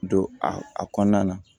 Don a kɔnɔna na